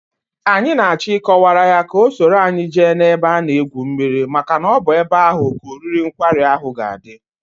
Anyị n'achọ ị kọwaara ya ka o soro anyi jee n'ebe a na egwu mmiri maka na ọbụ ebe ahụ ka oriri nkwari ahụ ga adị